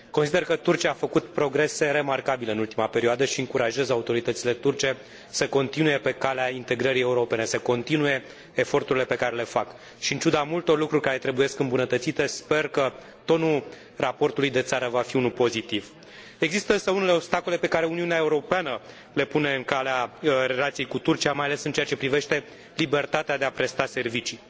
Consider că Turcia a făcut progrese remarcabile în ultima perioadă și încurajez autoritățile turce să continue pe calea integrării europene, să continue eforturile pe care le fac și, în ciuda multor lucruri care trebuie îmbunătățite, sper că tonul raportului de țară va fi unul pozitiv. Există, însă, unele obstacole pe care Uniunea Europeană le pune în calea relației cu Turcia, mai ales în ceea ce privește libertatea de a presta servicii.